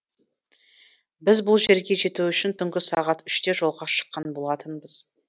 біз бұл жерге жету үшін түнгі сағат үште жолға шыққан болатынбыз